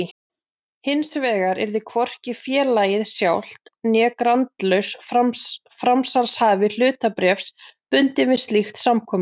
Hinsvegar yrði hvorki félagið sjálft né grandlaus framsalshafi hlutabréfs bundinn við slíkt samkomulag.